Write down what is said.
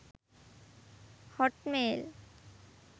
hotmail